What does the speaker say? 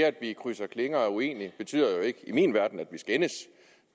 at vi krydser klinger og er uenige betyder i min verden jo ikke at vi skændes